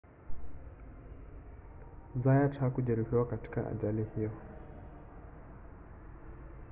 zayat hakujeruhiwa katika ajali hiyo